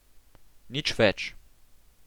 Nič več.